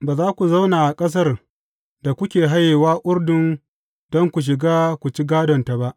Ba za ku zauna a ƙasar da kuke hayewa Urdun don ku shiga ku ci gādonta ba.